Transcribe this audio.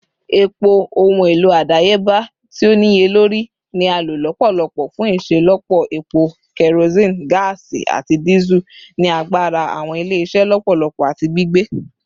Epo, ohun elo adayeba ti o niyelori, ni a lo lọpọlọpọ fun iṣelọpọ epo, kerosene, gaasi, ati Diesel, ni agbara awọn ile-iṣẹ lọpọlọpọ ati gbigbe.